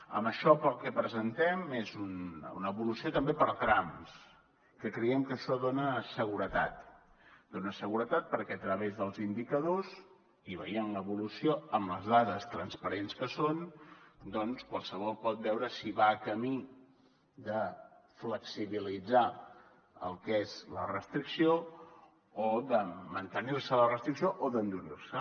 amb això el que presentem és una evolució també per trams que creiem que això dona seguretat dona seguretat perquè a través dels indicadors i veient l’evolució amb les dades transparents que són doncs qualsevol pot veure si va camí de flexibilitzar el que és la restricció o de mantenir se la restricció o d’endurir se